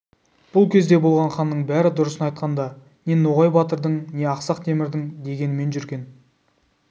бұл кезде болған ханның бәрі дұрысын айтқанда не ноғай батырдың не ақсақ темірдің дегенімен жүрген